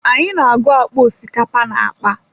Anyị na-agụ osikapa na akpa.